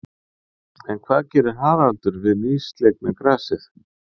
En hvað gerir Haraldur við nýslegna grasið?